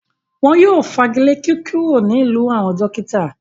Wọn yóò fagilé kíkúrò nílùú àwọn “dókítà”.